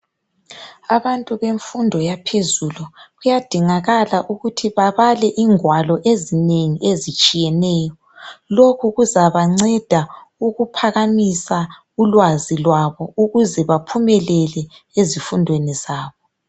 Abantu bemfundo yaphezulu, kuyadingakala ukuthi babale ingwalo ezinengi ezitshiyeneyo lokhu kuzabanceda ukuphakamisa ulwazi lwabo ukuze baphumelele ezifundweni zabo